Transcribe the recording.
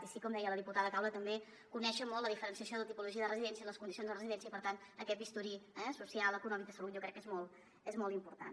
i sí com deia la diputada caula també conèixer molt la diferenciació de tipologia de residència i les condicions de residència i per tant aquest bisturí eh social econòmic de salut jo crec que és molt important